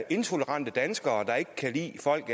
intolerante danskere der ikke kan lide folk